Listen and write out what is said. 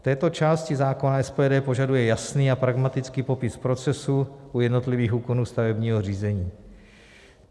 V této části zákona SPD požaduje jasný a pragmatický popis procesů u jednotlivých úkonů stavebního řízení.